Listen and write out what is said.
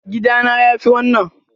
Gida na yafi wannan.